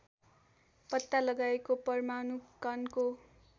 पत्ता लगाएको परमाणु कणको